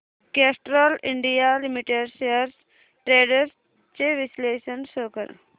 Castrol India limited shares trends चे विश्लेषण show कर